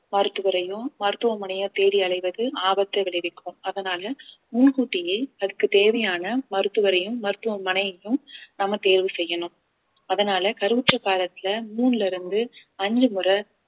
மருத்துவரையும் மருத்துவமனையை தேடி அலைவது ஆபத்தை விளைவிக்கும் அதனால முன் கூட்டியே அதுக்கு தேவையான மருத்துவரையும் மருத்துவமனையையும் நம்ம தேர்வு செய்யணும் அதனால கருவுற்ற காலத்துல மூணுல இருந்து அஞ்சு முறை